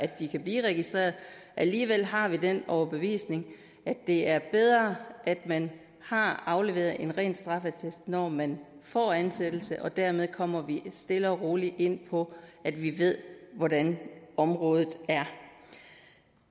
de kan blive registreret alligevel har vi den overbevisning at det er bedre at man har afleveret en ren straffeattest når man får ansættelse og dermed kommer vi stille og roligt ind på at vi ved hvordan området er